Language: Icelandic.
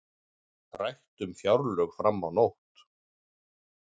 Rætt um fjárlög fram á nótt